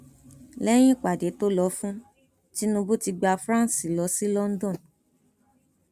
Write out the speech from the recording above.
lẹyìn ìpàdé tó lọ fún tinubu ti gba france lọ sí london